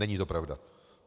Není to pravda.